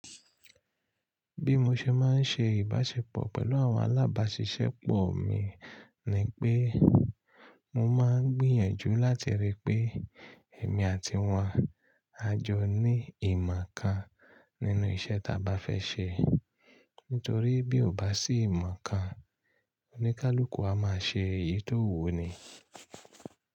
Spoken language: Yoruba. Bí mo ṣe máa ń ṣe ìbáṣepọ̀ pẹ̀lú àwọn alábáṣiṣẹ́ pọ̀ mi ni pé mo máa ń gbìyànjú láti rí pé èmi àti wọ́n a jọ ní ìmọ̀ kan nínú iṣẹ́ ta bá fẹ́ ṣe. Nítorí bí o bá sí ìmọ̀ kan, oníkálukú a máa ṣe èyí tó wù ni.